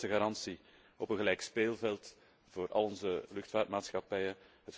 Dit is de beste garantie op een gelijk speelveld voor al onze luchtvaartmaatschappijen.